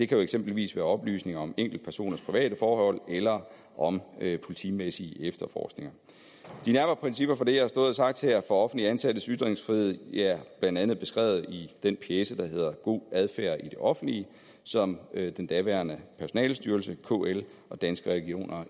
kan eksempelvis være oplysninger om enkeltpersoners private forhold eller om politimæssige efterforskninger de nærmere principper for det jeg har stået og sagt her offentligt ansattes ytringsfrihed er blandt andet beskrevet i den pjece der hedder god adfærd i det offentlige som den daværende personalestyrelse kl og danske regioner